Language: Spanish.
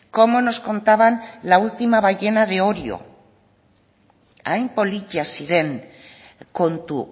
cómo nos contaban la última ballena de orio hain politak ziren kontu